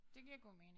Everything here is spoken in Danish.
Det giver god mening